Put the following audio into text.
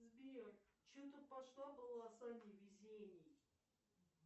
сбер что то пошла полоса невезений